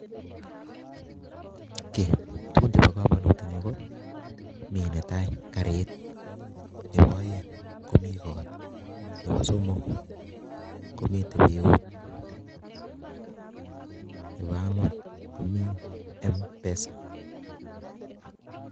Kiy, tugun chebo komonut eng' yu, ko mi netai garit, nebo aeng' komii kot, nebo somok, komitei biut, nebo angwan, komiii M-pesa